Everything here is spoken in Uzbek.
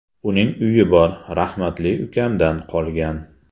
Uning uyi bor, rahmatli ukamdan qolgan.